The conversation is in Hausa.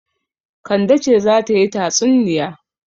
Kande ce za ta yi tatsunniya.